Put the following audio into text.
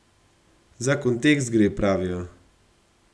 Za kontekst gre, pravijo.